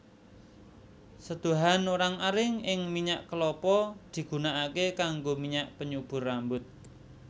Seduhan orang aring ing minyak kelapa digunakaké kanggo minyak penyubur rambut